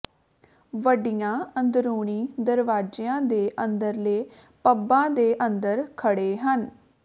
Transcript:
ਵੱਡੀਆਂ ਅੰਦਰੂਨੀ ਦਰਵਾਜ਼ਿਆਂ ਦੇ ਅੰਦਰਲੇ ਪੱਬਾਂ ਦੇ ਅੰਦਰ ਖੜ੍ਹੇ ਹਨ